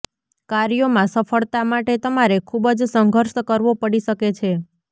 કાર્યોમાં સફળતા માટે તમારે ખૂબ જ સંઘર્ષ કરવો પડી શકે છે